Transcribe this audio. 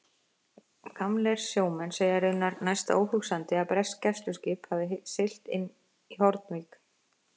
Gamlir sjómenn segja raunar næsta óhugsandi, að bresk gæsluskip hafi siglt inn á Hornvík.